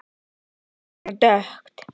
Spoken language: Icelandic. Ekki svona dökkt.